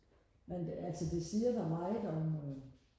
men altså det siger dig meget om øhm